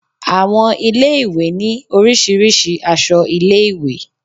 Àwọn ilé ìwé ní Oríṣiríṣi aṣọ ilé ìwé.